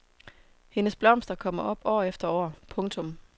Hendes blomster kommer op år efter år. punktum